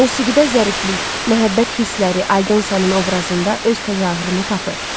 Musiqidə zəriflik, məhəbbət hissləri Aldonsanın obrazında öz təzahürünü tapır.